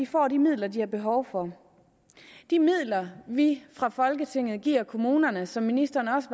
får de midler de har behov for de midler vi fra folketinget giver kommunerne som ministeren også